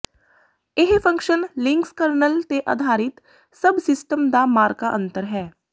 ਇਹ function Linux kernel ਤੇ ਅਧਾਰਿਤ ਸਭ ਸਿਸਟਮ ਦਾ ਮਾਰਕਾ ਅੰਤਰ ਹੈ